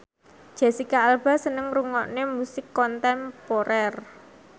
Jesicca Alba seneng ngrungokne musik kontemporer